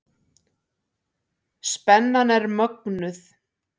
Spennan er mögnuð.